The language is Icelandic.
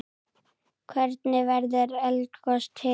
Hvernig verður eldgos til?